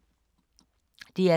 DR K